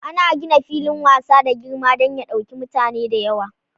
Ana gina filin wasa da girma dan ya ɗauki mutane da yawa.